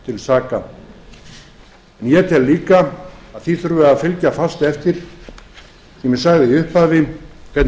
saka ég tel líka að því þurfi að fylgja fast eftir sem ég sagði í upphafi hvernig